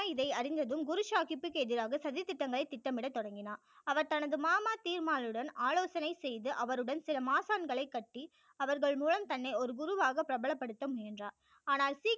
ராம் ராய் இதை அறிந்ததும் குரு சாகிப் பிற்கு எதிராக சதி திட்டங்களை திட்டம் இட தொடங்கினார் அவர் தனது மாமா தீவ்மாலுடன் ஆலோசனை செய்து அவருடன் சில மாசான்களை கட்டி அவர்கள் மூலம் தன்னை ஒரு குருவாக பிரபலப்படுத்த முயன்றார் ஆனால் சீக்கிய